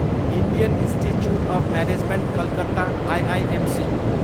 Indian institute of management Calcutta, IIMC